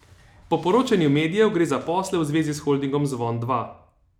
Po poročanju medijev gre za posle v zvezi s holdingom Zvon Dva.